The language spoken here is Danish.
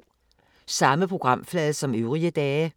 Samme programflade som øvrige dage